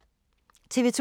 TV 2